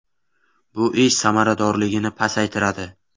Bu ish samaradorligini pasaytiradi.